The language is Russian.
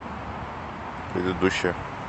предыдущая